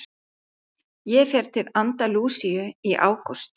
Ég fer til Andalúsíu í ágúst.